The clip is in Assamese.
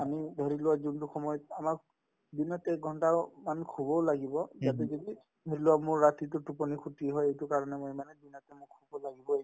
আমি ধৰিলোৱা যোনতো সময়ত আমাক দিনত একঘণ্টাও আমি শুবও লাগিব ইয়াতে যদি ধৰিলোৱা মোৰ ৰাতিতো টোপনি খতি হয় এইটো কাৰণে মই মানে দিনতে মোক